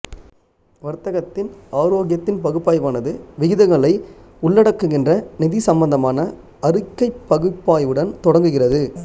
வர்த்தகத்தின் ஆரோக்கியத்தின் பகுப்பாய்வானது விகிதங்களை உள்ளடக்குகின்ற நிதி சம்பந்தமான அறிக்கை பகுப்பாய்வுடன் தொடங்குகிறது